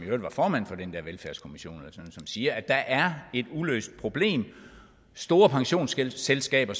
øvrigt var formand for den der velfærdskommission siger at der er et uløst problem og store pensionsselskaber